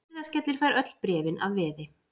Hurðaskellir fær öll bréfin að veði.